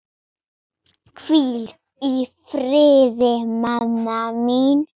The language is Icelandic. Hvíl í friði mamma mín.